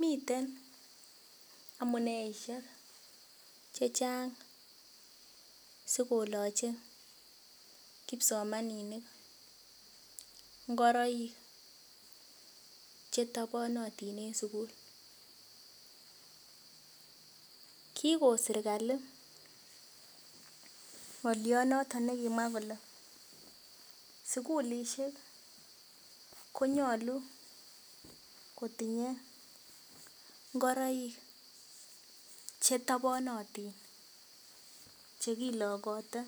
Miten amuneishek chechang sikoloche kipsomaninik ngoroik chetoponotin eng sukul kikon sirkali ngolionoton nekimwa kole sukulishek konyolu kotinyei ngoroik chetoponotin chekilokote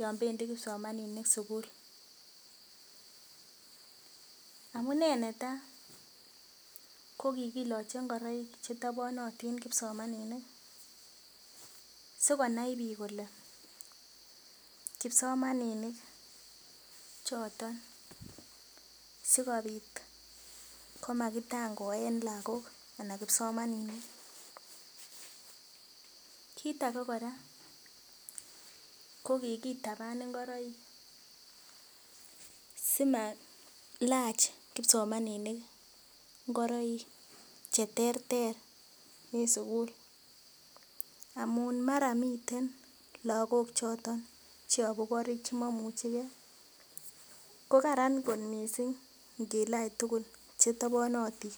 yon pendi kipsomaninik sukul amune netai kokikiloche ngoroik chetoponotin kipsomaninik sikonai biik kole kipsomaninik choton sikopit komakitangoen lakok ana kipsomaninik kiit ake kora ko kikitapan ngoroik simailach kipsomaninik ngoroik che ter ter eng sukul amun mara miten lakok choton cheyobu korik chemaimuchikei kokaran kot missing ngilach tukul chetoponotin.